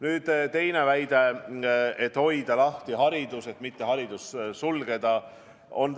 Nüüd teine väide, et hoida haridus lahti ja mitte koole sulgeda.